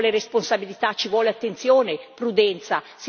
Ci vuole responsabilità, ci vuole attenzione, prudenza.